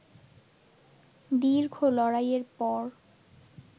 দীর্ঘ লড়াইয়ের পর